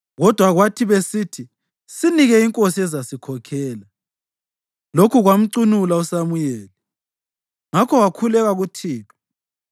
Kodwa kwathi besithi, “Sinike inkosi ezasikhokhela,” lokhu kwamcunula uSamuyeli; ngakho wakhuleka kuThixo.